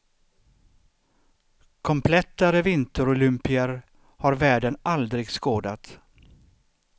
Komplettare vinterolympier har världen aldrig skådat.